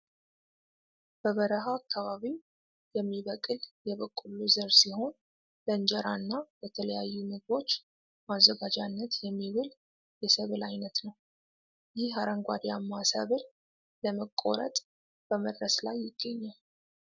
በበረሃ አካባቢ የሚበቅል የበቆሎ ዘር ሲሆን ለእንጀራና ለተለያዩ ምግቦች ማዘጋጃነት የሚውል የሰብል አይነት ነው። ይህ አረንጓዴአማ ሰብል ለመቆረጥ በመድረስ ላይ ይገኛል።